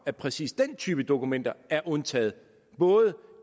at præcis den type dokumenter er undtaget både